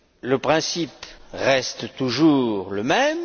Le principe reste toujours le même.